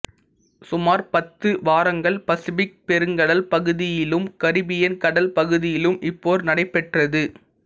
சுமார் பத்து வாரங்கள் பசிபிக் பெருங்கடல் பகுதியிலும் கரிபியன் கடல் பகுதியிலும் இப்போர் நடை பெற்றது